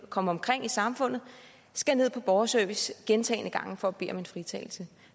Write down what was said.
og komme omkring i samfundet skal ned på borgerservice gentagne gange for at bede om en fritagelse